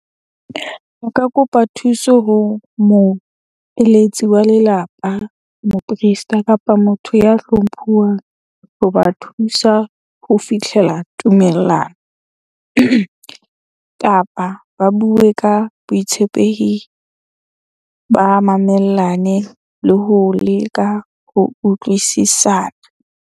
Nka kopa thuso ho moeletsi wa lelapa, mo priest-a kapa motho ya hlomphuwang ho ba thusa ho fitlhela tumellano. Kapa ba bue ka boitshepehi, ba mamellane le ho leka ho utlwisisana.